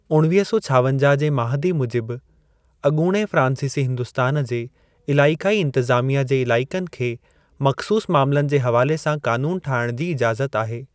उणवीह सौ छावंजाह जे माहदी मुजिबि, अॻूणी फ़्रांसीसी हिन्दुस्तान जे अलाइक़ाई इंतिज़ामीया जे इलाइक़नि खे मख़सूसु मामिलनि जे हवाले सां क़ानूनु ठाहिण जी इजाज़त आहे।